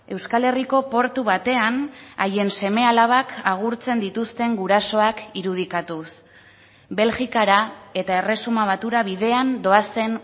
euskal herriko portu batean haien seme alabak agurtzen dituzten gurasoak irudikatuz belgikara eta erresuma batura bidean doazen